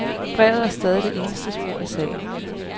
Brevet er stadig det eneste spor i sagen.